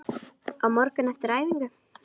Á morgun, eftir æfingu?